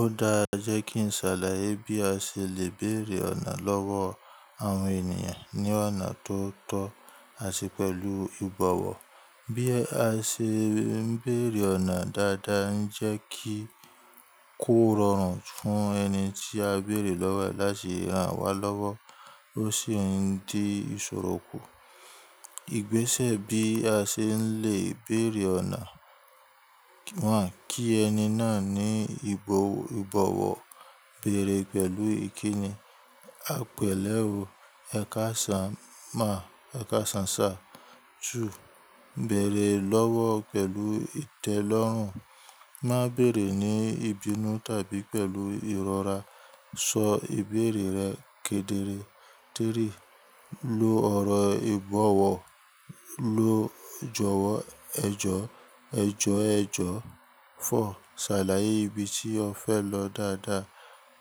Ó dáa jẹ́ kí n ṣàlàyé bí a ṣe lè bèrè ọ̀nà lọ́wọ́ àwọn ènìyàn ní ọ̀nà tó tọ́ àti pẹ̀lú ìbọ̀wọ̀. Bí a ṣe ń bèrè ọ̀nà dáadáa ń jẹ́ kí kò rọrùn fún ẹni tí a bèrè lọ́wọ́ láti ràn wá lọ́wọ́ ó sì ń di ìṣòro kù. Ìgbésẹ̀ bí a ṣe n lè bèrè ọ̀nà. One. Kí ẹni náà ní ìbọ̀wọ̀, bèrè pẹ̀lú ìkíni. Àpèléwu, ẹ̀ka sán má, ẹ̀ka sán sá. Two. Bẹ̀rẹ̀ lọ́wọ́ pẹ̀lú ìtẹ́lọ́rùn. Má bèrè ní ìbínú tàbí pẹ̀lú ìrora. Sọ ìbéèrè rẹ kedere. Three. Lo ọ̀rọ̀ ìbọ̀wọ̀, lo jọ̀wọ́, ẹ jọ̀, ẹ jọ̀, ẹ jọ̀. Four. Ṣàlàyé ibi tí o fẹ́ lọ dáadáa,